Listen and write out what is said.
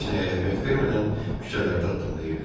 Heç nəyə əhəmiyyət vermədən küçələrdə addımlayırdı.